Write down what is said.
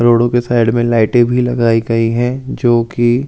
रोडो के साइड में लाइटें भी लगाई गई हे जो की जल रही --